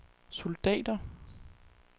soldater